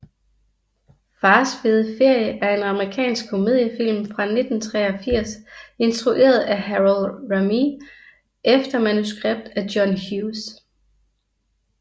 Fars fede ferie er en amerikansk komediefilm fra 1983 instrueret af Harold Ramis efter manuskript af John Hughes